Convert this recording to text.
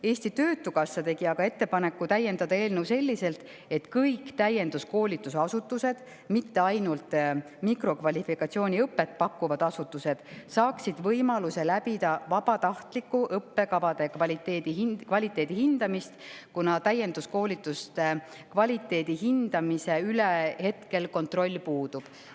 Eesti Töötukassa tegi ettepaneku täiendada eelnõu selliselt, et kõik täienduskoolitusasutused, mitte ainult mikrokvalifikatsiooniõpet pakkuvad asutused, saaksid võimaluse läbida õppekavade vabatahtliku kvaliteedihindamise, kuna täienduskoolituste kvaliteedihindamise üle kontroll hetkel puudub.